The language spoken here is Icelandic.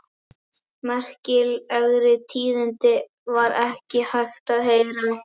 Merkilegri tíðindi var ekki hægt að heyra.